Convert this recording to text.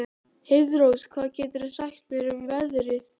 Heiðrós, hvað geturðu sagt mér um veðrið?